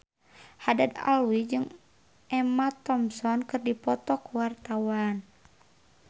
Haddad Alwi jeung Emma Thompson keur dipoto ku wartawan